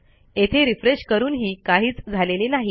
येथे रिफ्रेश करूनही काहीच झालेले नाही